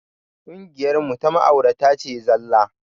Ƙungiyar mu ta ma'aurata ce zallah